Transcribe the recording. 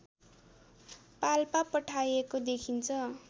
पाल्पा पठाएको देखिन्छ